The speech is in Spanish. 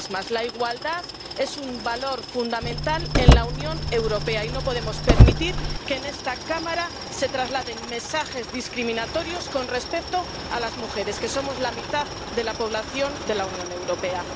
La igualdad es un valor fundamental en la Unión Europea, y no podemos permitir que en esta Cámara se trasladen mensajes discriminatorios con respecto a las mujeres, que somos la mitad de la población de la Unión Europea.